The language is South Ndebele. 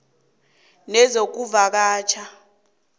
nezokuvakatjha idea t